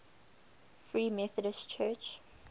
free methodist church